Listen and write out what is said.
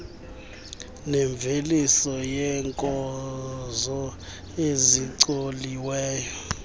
nemveliso yeenkozo ezicoliweyo